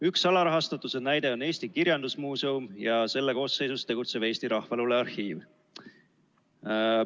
Üks alarahastatuse näide on Eesti Kirjandusmuuseum ja selle koosseisus tegutsev Eesti Rahvaluule Arhiiv.